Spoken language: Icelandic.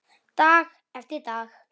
Dag eftir dag.